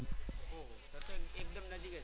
ઓહ તો તો એકદમ નજીક જ.